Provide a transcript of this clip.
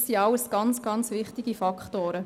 Dies sind alles sehr, sehr wichtige Faktoren.